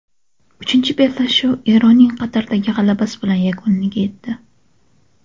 Uchinchi bellashuv Eronning Qatardagi g‘alabasi bilan yakuniga yetdi.